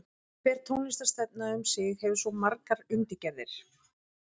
Hver tónlistarstefna um sig hefur svo margar undirgerðir.